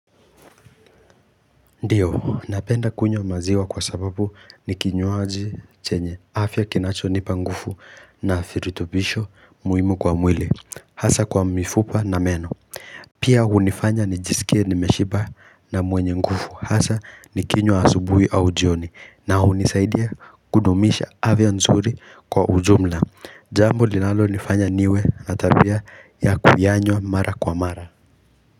Ndiyo napenda kunywa maziwa kwa sababu nikinywaji chenye afya kinacho nipa nguvu na virutubisho muhimu kwa mwili hasa kwa mifupa na meno pia hunifanya nijisikie nimeshiba na mwenye nguvu hasa nikinywa asubuhi au jioni na hunisaidia kudumisha afya nzuri kwa ujumla jambo linalonifanya niwe na tabia ya kuyanywa mara kwa mara.